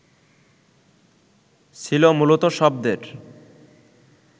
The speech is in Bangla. ছিল মূলত শব্দের